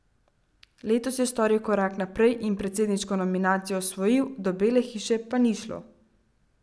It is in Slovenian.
Letos je storil korak naprej in predsedniško nominacijo osvojil, do Bele hiše pa ni šlo.